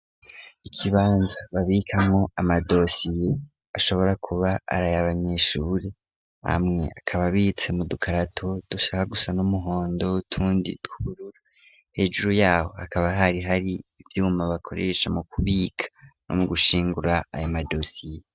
Ikibanza babikamwo amadosiye ashobora kuba ari ay'abanyeshuri. Amwe akaba abitse mu dukarato dushaka gusa n'umuhondo, utundi tw'ubururu, hejuru yaho hakaba hari hari ivyuma bakoresha mu kubika no mu gushingura ayo madosiye.